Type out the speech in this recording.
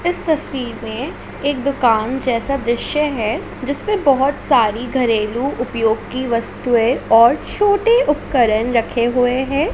इस तस्वीर में एक दुकान जैसा दृश्य है जिस में बहुत सारी घरेलू उपयोग की वस्तुएं और छोटे उपकरण रखे हुए हैं।